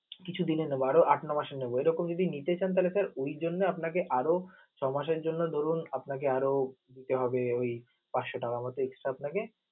কিছু দিনে নেব আরও আট-নয় মাসের নেব, এরকম যদি নিতে চান তাহলে sir ওই জন্যে আপনাকে আরও ছয় মাসের জন্য ধরুন আপনাকে দিতে হবে পাঁচশ টাকার মত extra আপনাকে